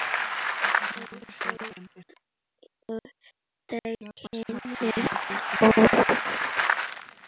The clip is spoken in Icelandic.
Og urðu þau kynni góð.